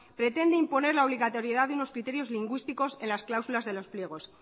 pretende imponer la obligatoriedad de unos criterios lingüísticos en las cláusulas de los pliegos